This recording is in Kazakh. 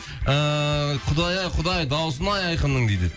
ыыы құдай ай құдай даусын ай айқынның дейді